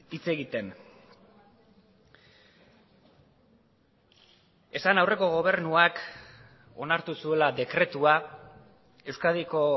hitz egiten esan aurreko gobernuak onartu zuela dekretua euskadiko